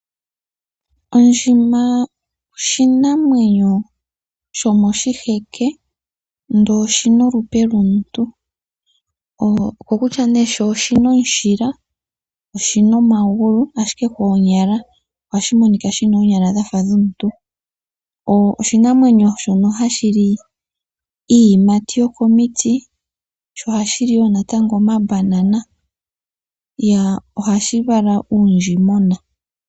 Ondjima oshinamwenyo shomoshiheke ndele oshi na olupe lwomuntu. Okokutya nee sho oshi na omushila , sho oshina omagulu ashike koonyala ohashi monika sha fa shi na oonyala dhomuntu. Oshinamwenyo shono hashi li iiyimati yokomiti, sho ohashi linwo natango omambanana, sho ohashi vala uundjimona.